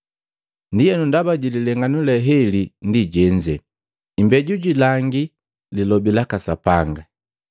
“Ndienu ndaba jililenganu le heli ndi jenze, imbeju jilangi Lilobi laka Sapanga.